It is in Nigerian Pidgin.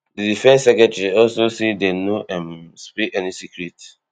di defence secretary also say dem no um spill any secret